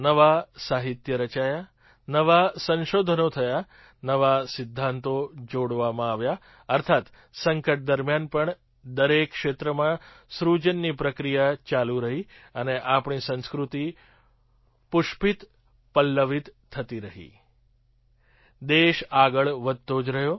નવાં સાહિત્ય રચાયાં નવાં સંશોધનો થયાં નવા સિદ્ધાંતો જોડવામાં આવ્યા અર્થાત્ સંકટ દરમિયાન પણ દરેક ક્ષેત્રમાં સૃજનની પ્રક્રિયા ચાલુ રહી અને આપણી સંસ્કૃતિ પુષ્પિતપલ્લવિત થતી રહી દેશ આગળ વધતો જ રહ્યો